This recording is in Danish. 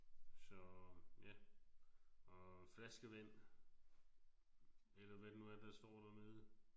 Så ja og flaskevand eller hvad det nu er der står dernede